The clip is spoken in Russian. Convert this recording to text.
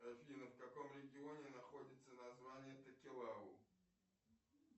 афина в каком регионе находится название токелау